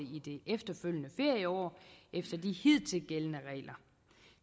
det efterfølgende ferieår efter de hidtil gældende regler